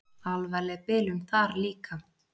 Alvarleg bilun þar líka.